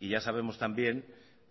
y ya sabemos también